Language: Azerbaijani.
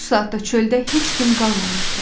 Bu saatda çöldə heç kim qalmamışdı.